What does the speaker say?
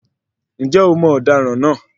Ǹjẹ́ o mọ ọ̀daràn náà?